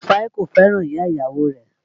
Rufai kò fẹ́ràn ìyá ìyàwó rẹ̀